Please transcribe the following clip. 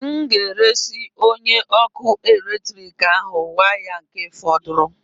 M nga-eresị onye ọkụ eletrik ahụ waya nke fọdụrụ